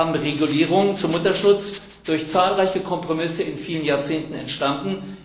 Wir haben Regulierungen zum Mutterschutz, durch zahlreiche Kompromisse in vielen Jahrzehnten entstanden.